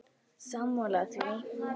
Sammála því?